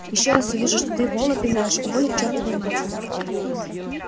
ещё раз увижу что ты вола пинаешь уволю к чёртовой матери